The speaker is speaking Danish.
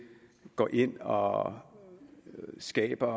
går ind og skaber